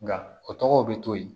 Nka o tɔgɔ bɛ to yen